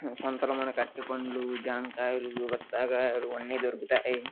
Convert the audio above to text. సంత లో మనకి అరటిపండ్లు జాంకాయలు బత్తాకాయలు అన్నీ దొరుకుతాయి.